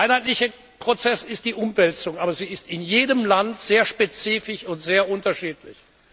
Der einheitliche Prozess ist die Umwälzung, aber sie ist in jedem Land sehr spezifisch und sehr unterschiedlich.